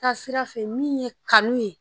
T'a sira fɛ min ye kanu ye.